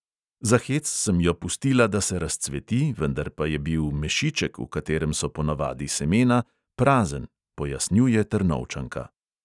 Za hec sem jo pustila, da se razcveti, vendar pa je bil mešiček, v katerem so ponavadi semena, prazen, pojasnjuje trnovčanka.